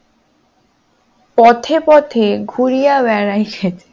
পথে পথে ঘুরিয়া বেড়াইছে